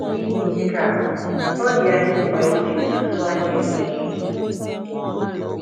N’ihi nke a, ọ dị anyị mkpa iji izuzu anyị eme ihe.